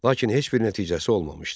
Lakin heç bir nəticəsi olmamışdı.